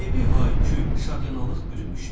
Evi hay-küy, şadyanalıq bürümüşdü.